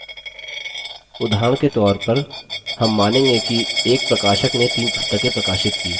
उदाहरण के तौर पर हम मानेंगे कि एक प्रकाशक ने 3 पुस्तकें प्रकाशित की